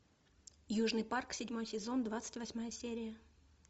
южный парк седьмой сезон двадцать восьмая серия